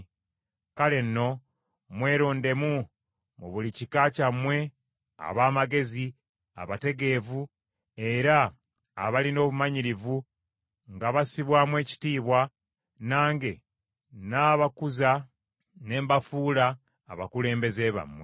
Kale nno, mwerondemu, mu buli kika kyammwe, ab’amagezi, abategeevu era abalina obumanyirivu nga bassibwamu ekitiibwa, nange nnaabakuza ne mbafuula abakulembeze bammwe.’